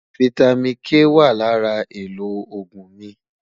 fìtámín K wà lárà èlò ògún mí